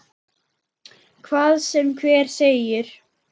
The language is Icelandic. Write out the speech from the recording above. Hvað sem hver segir.